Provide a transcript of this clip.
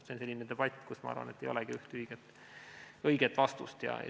See on selline debatt, kus, ma arvan, ei olegi ühte õiget vastust.